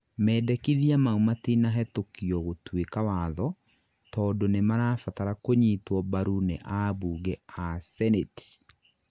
mendekithia maũ matinahetũkio gũtũika watho, tondũ nĩmarabatara kũnyitwo mbarũ nĩ ambunge a cenĩti.